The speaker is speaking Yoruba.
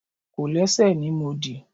Kòlẹ́sẹ̀ ni mo dì.